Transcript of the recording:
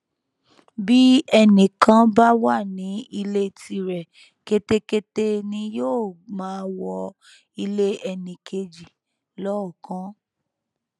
bí ẹnì kan bá wà ní ilé tirẹ ketekete ni yóò máa wọ ilé ẹnì kejì lọọọkán